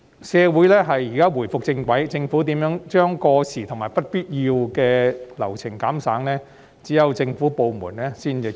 社會現在重回正軌，一些過時及不必要的流程可如何減省，只有政府部門才知道。